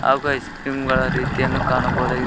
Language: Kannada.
ಹಾಗೂ ಐಸ್ ಕ್ರೀಮ್ ಗಳ ರೀತಿಯನ್ನು ಕಾಣಬಹುದಾಗಿದೆ.